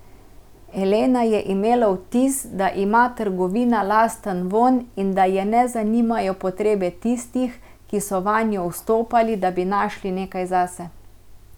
Elena je imela vtis, da ima trgovina lasten vonj in da je ne zanimajo potrebe tistih, ki so vanjo vstopali, da bi našli nekaj zase.